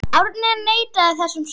Árni neitaði þessum sökum.